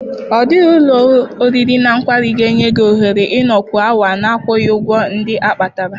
Ọ dịghị ụlọ oriri na ọṅụṅụ ga-enye gị ohere ịnọkwu awa na-akwụghị ụgwọ ndị a kpatara.